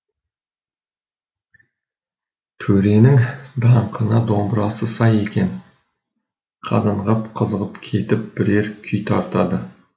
төренің даңқына домбырасы сай екен қазанғап қызығып кетіп бірер күй тартады